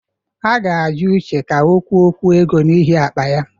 A ga-ajụ Uche ka ọ kwụọkwu ego n'ihi akpa ya.